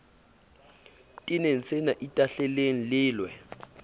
tene senna itahleleng le lwe